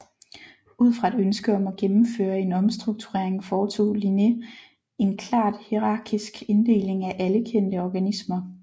Ud fra et ønske om at gennemføre en omstrukturering foretog Linné en klart hierarkisk inddeling af alle kendte organismer